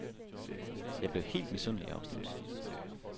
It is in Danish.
Jeg blev helt misundelig og opstemt.